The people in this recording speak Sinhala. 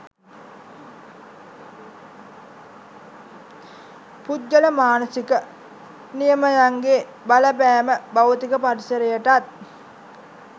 පුද්ගල මානසික නියමයන්ගේ බලපෑම භෞතික පරිසරයටත්